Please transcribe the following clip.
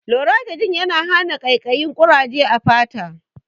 Loratidin yana hana ƙaikayin ƙuraje a fata